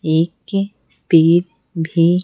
एक पीर भी --